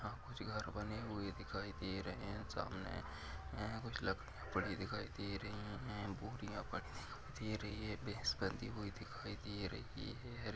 यहां कुछ घर बने हुए दिखाई दे रहे हैं सामने कुछ लकड़ि पड़ी दिखाई दे रही है बोरियां पड़ी दिखाई दे रही है भैस बंधी हुई दिखाई दे रही है।